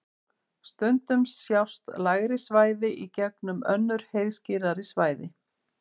Stundum sjást lægri svæði í gegnum önnur heiðskírari svæði.